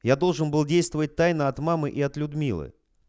я должен был действовать тайно от мамы и от людмилы